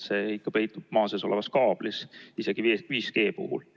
See peitub ikka maa sees olevas kaablis, isegi 5G puhul.